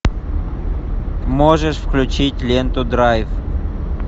можешь включить ленту драйв